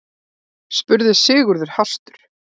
spurði Sigurður hastur.